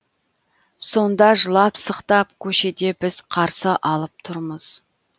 сонда жылап сықтап көшеде біз қарсы алып тұрмыз